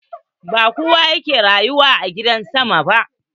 Ba kowa yake rayuwa a gidan sama ba.